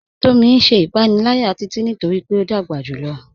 Tomí n ṣẹ̀ ìpànìlàyà Títití nítorí pé o dágbà júlọ̀.